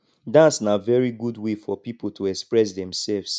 dance na very good wey for pipo to express themselves